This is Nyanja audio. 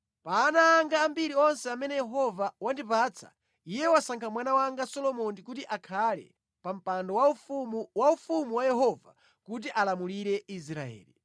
Pa ana anga ambiri onse amene Yehova wandipatsa, Iye wasankha mwana wanga Solomoni kuti akhale pa mpando waufumu wa ufumu wa Yehova kuti alamulire Israeli.”